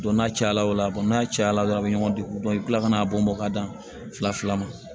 n'a cayala o la n'a cayala dɔrɔn a bɛ ɲɔgɔn degun i bɛ kila ka n'a bɔn bɔn ka dan fila fila ma